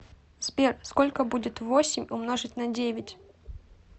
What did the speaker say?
сбер сколько будет восемь умножить на девять